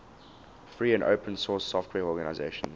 free and open source software organizations